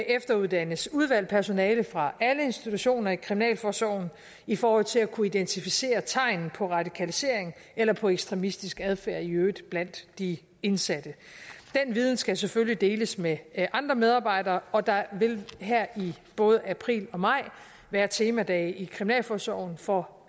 efteruddannes udvalgt personale fra alle institutioner i kriminalforsorgen i forhold til at kunne identificere tegn på radikalisering eller på ekstremistisk adfærd i øvrigt blandt de indsatte den viden skal selvfølgelig deles med andre medarbejdere og der vil her i både april og maj være temadage i kriminalforsorgen for